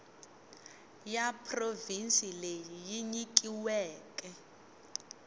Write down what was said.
ya provhinsi leyi yi nyikiweke